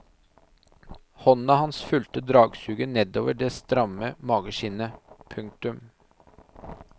Hånda hans fulgte dragsuget nedover det stramme mageskinnet. punktum